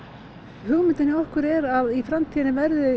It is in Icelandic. hugmyndin hjá okkur er að í framtíðinni verði